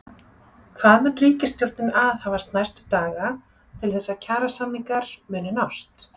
Hvað mun ríkisstjórnin aðhafast næstu daga til þess að kjarasamningar muni nást?